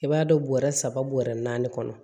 I b'a dɔn bɔrɛ saba bɔrɛ naani kɔnɔ